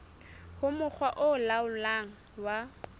ho mokga o laolang wa